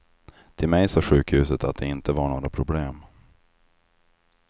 Till mig sa sjukhuset att det inte var några problem.